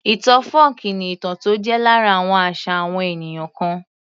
Ìtàn fọ́ọ̀kí ni ìtàn tó jẹ́ lára àwọn àṣà àwọn ènìyàn kan